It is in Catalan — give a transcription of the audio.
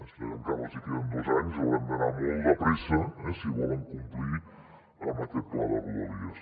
és cert que encara els hi queden dos anys hauran d’anar molt de pressa si volen complir amb aquest pla de rodalies